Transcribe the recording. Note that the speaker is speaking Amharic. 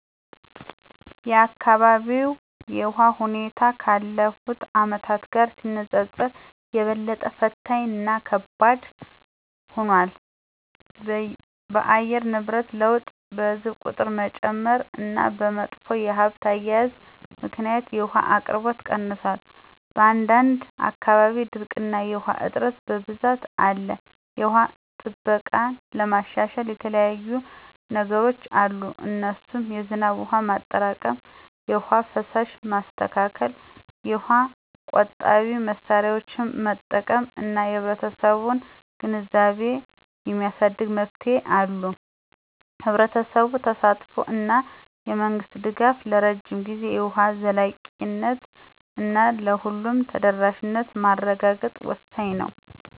የአካባቢው የውሃ ሁኔታ ካለፉት አመታት ጋር ሲነጻጸር የበለጠ ፈታኝ እና ከባድ ሆኗል። በአየር ንብረት ለውጥ፣ በሕዝብ ቁጥር መጨመር እና በመጥፎ የሀብት አያያዝ ምክንያት የውሃ አቅርቦት ቀንሷል። በአንዳንድ አካባቢዎች ድርቅ እና የውሃ እጥረት በብዛት አለ። የውሃ ጥበቃን ለማሻሻል የተለያዩየ ነገሮች አሉ እነሱም የዝናብ ውሃ ማጠራቀም፣ የውሃ ፍሳሽ ማስተካከል፣ የውሃ ቆጣቢ መሳሪያዎችን መጠቀም እና የህብረተሰቡን ግንዛቤ የማሳደግ መፍትሄዎች አሉ። የህብረተሰቡ ተሳትፎ እና የመንግስት ድጋፍ ለረጅም ጊዜ የውሃ ዘላቂነት እና ለሁሉም ተደራሽነት ማረጋገጥ ወሳኝ ነው